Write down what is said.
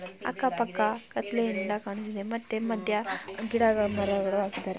ಅಕ್ಕಪಕ್ಕ ಕತ್ತಲೆಯಿಂದ ಕಾಣುತ್ತಿದೆ ಮತ್ತೆ ಮಧ್ಯ ಗಿಡ ಮರಗಳು ಹಾಕಿದ್ಧಾರೆ .